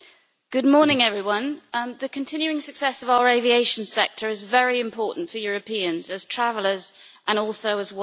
Mr President, the continuing success of our aviation sector is very important for Europeans, as travellers and also as workers.